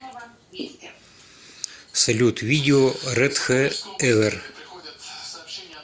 салют видео рэд хэ эвэр